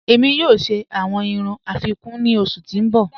Ẹ̀mi yọọ̀ ṣẹ awọn irùn afikún ni ọṣù ti n bọ́.